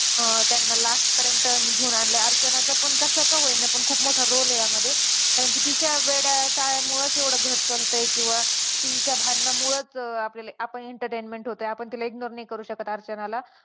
अं त्यांना last पर्यंत घेऊन आणले अर्चनाचा कसा का होईना पण खूप मोठा role आहे यामध्ये कारण की तिच्या वेड्या चाळ्यामुळंच एवढं घर चालतंय किंवा तिच्या भांडणांमुळंच आपण entertainment होतंय आपण तिला ignore नाही करू शकत अर्चनाला